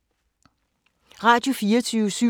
Radio24syv